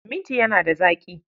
Minti yana da zaƙi